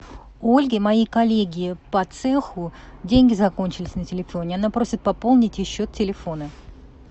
у ольги моей коллеги по цеху деньги закончились на телефоне она просит пополнить ей счет телефона